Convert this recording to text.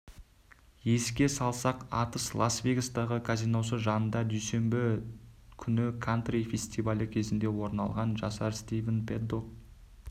еске салсақ атыс лас-вегастағы казиносы жанында дүйсенбі күні кантри фестивалі кезінде орын алған жасар стивен пэддок